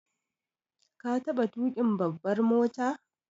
Ka taɓa tuƙin babbar mota?